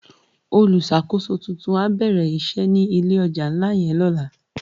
Ólùsákósó tútún á bèrè isè ni ilé òjá nlá yèn lòlá